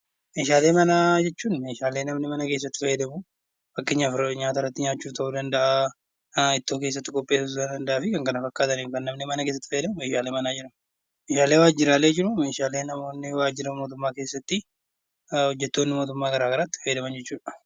Meeshaalee manaa jechuuni meeshaalee namni mana keessa tti fayyadamu, fakkeenyaaf yeroo Nyaata irratti nyaachuu ta'uu danda'aa, Ittoo keessatti qopheessuuf ta'uu danda'aa fi kan kana fakkaataniin kan namni mana keessatti itti fayyadamu 'Meeshaalee manaa' jedhama. Meeshaalee waajjiraalee jiru meeshaalee namoonni waajjira mootummaa keessatti, hojjetoonni mootummaa garaa garaa itti fayyadaman jechuu dha.